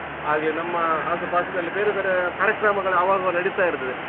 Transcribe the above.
ಹಾಗೆ ನಮ್ಮ ಆಸು ಪಾಸಿನಲ್ಲಿ ಬೇರೆ ಬೇರೆ ಕಾರ್ಯಕ್ರಮಗಳು ಆವಾಗ ಆವಾಗ ನಡಿತಾ ಇರ್ತದೆ